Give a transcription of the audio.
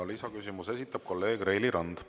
Lisaküsimuse esitab kolleeg Reili Rand.